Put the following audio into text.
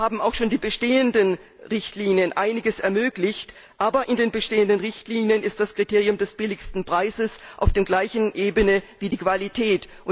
Zwar haben auch schon die bestehenden Richtlinien einiges ermöglicht, aber in den bestehenden Richtlinien steht das Kriterium des niedrigsten Preises auf der gleichen Ebene wie die Qualität.